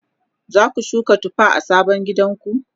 zaku shuka tufa a sabon gidanku?